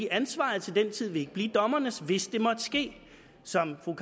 ansvaret til den tid vil ikke blive dommernes hvis det måtte ske som fru